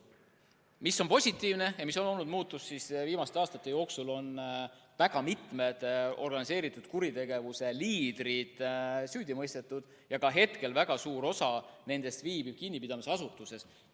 Mis on positiivne ja mis on olnud muutus, on see, et viimaste aastate jooksul on mitu organiseeritud kuritegevuse liidrit süüdi mõistetud ja ka hetkel viibib väga suur osa nendest kinnipidamisasutuses.